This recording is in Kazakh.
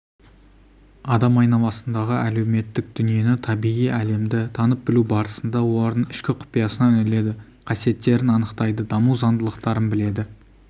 адам айналасындағы әлеуметтік дүниені табиғи әлемді танып білу барысында олардың ішкі құпиясына үңіледі қасиеттерін анықтайды даму заңдылықтарын біледі